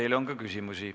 Teile on ka küsimusi.